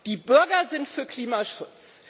Die Bürger sind für Klimaschutz!